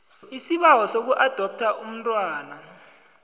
isibawo sokuadoptha umntwana